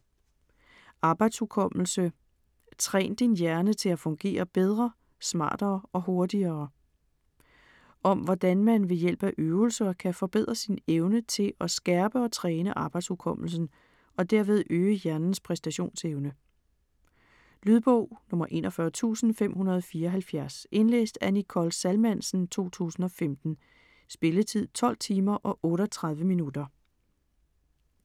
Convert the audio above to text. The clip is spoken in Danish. Arbejdshukommelse: træn din hjerne til at fungere bedre, smartere og hurtigere Om hvordan man ved hjælp af øvelser kan forbedre sin evne til at skærpe og træne arbejdshukommelsen og derved øge hjernens præstationsevne. Lydbog 41574 Indlæst af Nicole Salmansen, 2015. Spilletid: 12 timer, 38 minutter.